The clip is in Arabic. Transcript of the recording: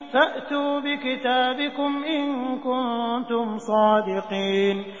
فَأْتُوا بِكِتَابِكُمْ إِن كُنتُمْ صَادِقِينَ